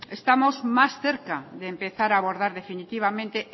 estamos más cerca de empezar a abordar definitivamente